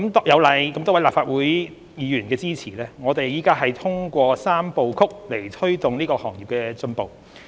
有賴多位立法會議員的支持，我們正通過"三步曲"來推動這個行業的進步。